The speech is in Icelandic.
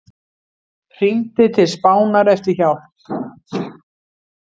Hringdi til Spánar eftir hjálp